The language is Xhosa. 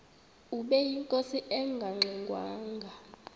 ubeyinkosi engangxe ngwanga